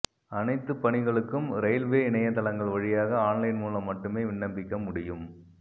அனைத்து பணிகளுக்கும் ரயில்வே இணையதளங்கள் வழியாக ஆன்லைன் மூலம் மட்டுமே விண்ணப்பிக்க முடியும்